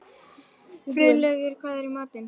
Friðlaugur, hvað er í matinn?